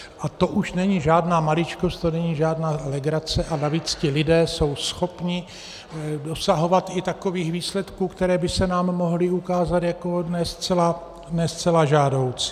A to už není žádná maličkost, to není žádná legrace, a navíc ti lidé jsou schopni dosahovat i takových výsledků, které by se nám mohly ukázat jako ne zcela žádoucí.